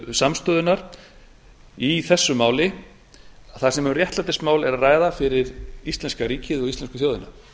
samstöðunnar í þessu máli þar sem um réttlætismál er að ræða fyrir íslenska ríkið og íslensku þjóðina